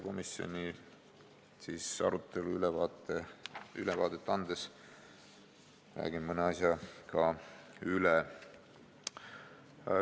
Komisjoni arutelust ülevaadet andes räägin mõne asja üle.